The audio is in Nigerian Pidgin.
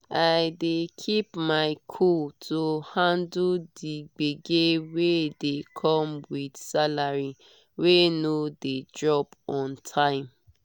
i dey keep my cool to handle the gbege wey dey come with salary wey no dey drop on time.